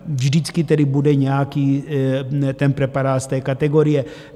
Vždycky tedy bude nějaký ten preparát z té kategorie.